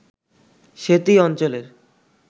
সেতী অঞ্চলের